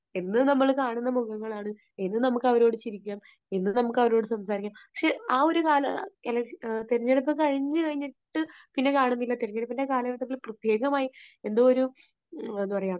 എന്നും നമ്മൾ കാണുന്ന മുഖങ്ങൾ ആണ്, എന്നും നമുക്ക് അവരോട് ചിരിക്കാം, എന്നും നമുക്ക് അവരോട് സംസാരിക്കാം, പക്ഷേ ആ ഒരു കാല, തെരഞ്ഞെടുപ്പ് കഴിഞ്ഞു കഴിഞ്ഞിട്ട് പിന്നെ കാണുന്നില്ല. തെരഞ്ഞെടുപ്പിന്റെ കാലഘട്ടത്തിൽ പ്രത്യേകമായിട്ട്, എന്തോ ഒരു, എന്താ പറയുക